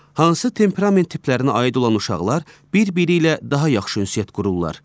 Hansı temperament tiplərinə aid olan uşaqlar bir-biri ilə daha yaxşı ünsiyyət qururlar?